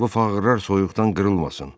Bu fağırlar soyuqdan qırılmasın.